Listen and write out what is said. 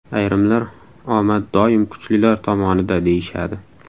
Ayrimlar omad doim kuchlilar tomonida deyishadi.